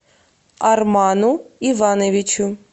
арману ивановичу